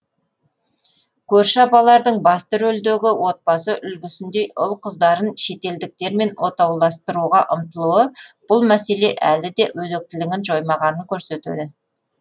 көрші апалардың басты рөлдегі отбасы үлгісіндей ұл қыздарын шетелдіктермен отауластыруға ұмтылуы бұл мәселе әлі де өзектілігін жоймағанын көрсетеді